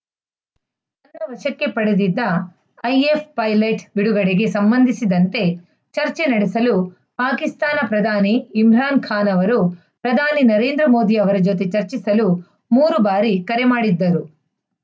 ವಶಕ್ಕೆ ಪಡೆದಿದ್ದ IAF pilot ಬಿಡುಗಡೆಗೆ ಸಂಬಂಧಿಸಿದಂತೆ ಚರ್ಚೆ ನಡೆಸಲು ಪಾಕಿಸ್ತಾನ ಪ್ರಧಾನಿ ಇಮ್ರಾನ್‌ ಖಾನ್‌ ಅವರು ಪ್ರಧಾನಿ ನರೇಂದ್ರ ಮೋದಿ ಅವರ ಜೊತೆ ಚರ್ಚಿಸಲು ಮೂರು ಬಾರಿ ಕರೆ ಮಾಡಿದ್ದರು